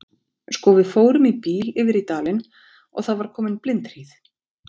Sko, við fórum í bíl yfir í dalinn og það var komin blindhríð.